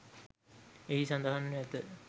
එහි සඳහන් ව ඇත